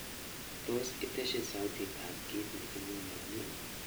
Tos itesyi sautitab kiit negingololen